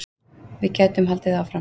Við gætum haldið áfram.